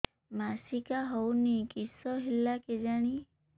ମାସିକା ହଉନି କିଶ ହେଲା କେଜାଣି